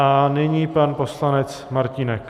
A nyní pan poslanec Martínek.